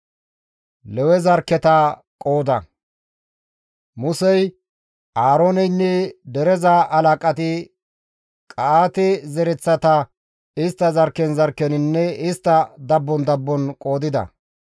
Musey, Aarooneynne dereza halaqati Qa7aate zereththata istta zarkken zarkkeninne istta dabbon dabbon qoodida.